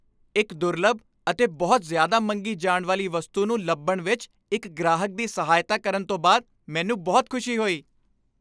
ਇੱਕ ਦੁਰਲੱਭ ਅਤੇ ਬਹੁਤ ਜ਼ਿਆਦਾ ਮੰਗੀ ਜਾਣ ਵਾਲੀ ਵਸਤੂ ਨੂੰ ਲੱਭਣ ਵਿੱਚ ਇੱਕ ਗ੍ਰਾਹਕ ਦੀ ਸਹਾਇਤਾ ਕਰਨ ਤੋਂ ਬਾਅਦ, ਮੈਂਨੂੰ ਬਹੁਤ ਖੁਸ਼ੀ ਹੋਈ